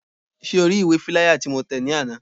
Ṣé o ri ìwé fíláyà tí mo tẹ̀ ní àná?